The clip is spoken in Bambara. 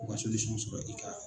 sɔrɔ e ka.